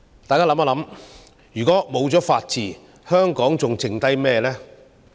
大家試想想，如果沒有法治，香港還剩下甚麼？